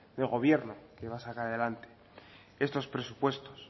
de gobierno que saca adelante estos presupuestos